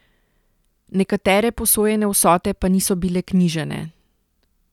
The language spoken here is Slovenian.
Nekatere posojene vsote pa niso bile knjižene.